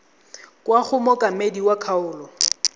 kwa go mookamedi wa kgaolo